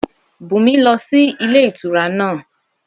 Bùnmi lọ sí ilé ìtura náà